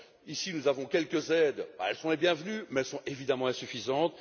Ici, nous avons quelques aides qui sont les bienvenues, mais elles sont évidemment insuffisantes.